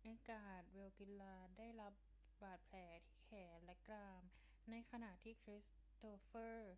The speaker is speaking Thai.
เอดการ์ เวกิลลาได้รับบาดแผลที่แขนและกราม ในขณะที่คริสตอฟเฟอร์